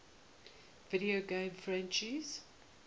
video game franchises